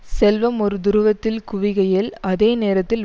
செல்வம் ஒரு துருவத்தில் குவிகையில் அதே நேரத்தில்